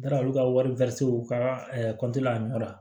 Taara olu ka waritigi ka a nɔ la